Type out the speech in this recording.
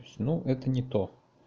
ну это не то